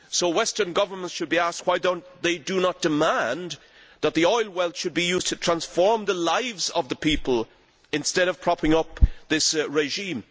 Western governments should be asked why they do not demand that the oil well be used to transform the lives of the people, instead of propping up this regime.